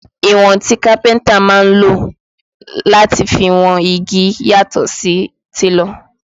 Ìwọ̀n tí kápẹ́ntà máa lò láti fi wọn igi yàtọ̀ sí ti télọ̀